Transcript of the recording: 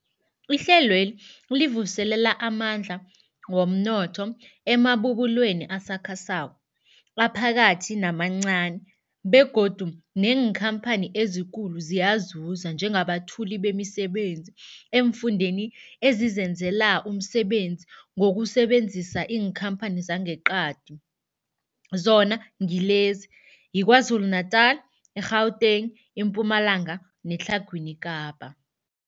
Ihlelweli livuselela amandla womnotho emabubulweni asakhasako, aphakathi namancani begodu neenkhamphani ezikulu ziyazuza njengabethuli bemisebenzi eemfundeni ezizenzela umsebenzi ngokusebenzisa iinkhamphani zangeqadi, zona ngilezi, yiKwaZulu-Natala, i-Gauteng, iMpumalanga neTlhagwini Kapa.